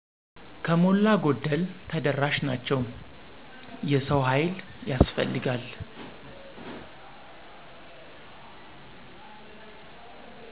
ከሞላ ጎደል ተደራሽ ናቸው። የሰው ሀይል ያስፈልጋል።